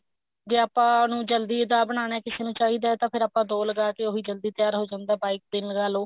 ਜੇ ਆਪਾਂ ਉਹਨੂੰ ਜਲਦੀ ਦਾ ਬਨਾਣਾ ਕਿਸੇ ਨੂੰ ਚਾਹਿਦਾ ਹੈ ਤਾਂ ਫੇਰ ਆਪਾਂ ਦੋ ਲਗਾਤੇ ਉਹੀ ਜਲਦੀ ਤਿਆਰ ਹੋ ਜਾਂਦਾ ਬਾਈ ਕ ਦਿਨ ਲਗਾ ਲੋ